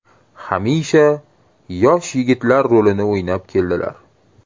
Hamisha yosh yigitlar rolini o‘ynab keldilar.